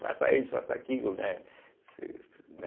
Faça isso, faça aquilo, né?